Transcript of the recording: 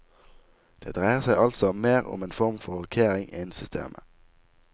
Det dreier seg altså mer om en form for rokkering innen systemet.